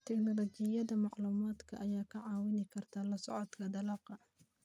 Tignoolajiyada macluumaadka ayaa kaa caawin karta la socodka dalagga.